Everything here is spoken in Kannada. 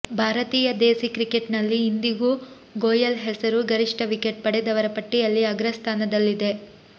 ಭಾರತೀಯ ದೇಸಿ ಕ್ರಿಕೆಟ್ನಲ್ಲಿ ಇಂದಿಗೂ ಗೋಯೆಲ್ ಹೆಸರು ಗರಿಷ್ಠ ವಿಕೆಟ್ ಪಡೆದವರ ಪಟ್ಟಿಯಲ್ಲಿ ಅಗ್ರಸ್ಥಾನದಲ್ಲಿದೆ